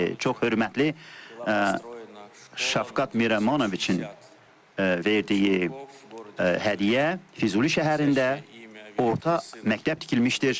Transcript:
Çox hörmətli Şavkat Mirəmanoviçin verdiyi hədiyyə Füzuli şəhərində orta məktəb tikilmişdir.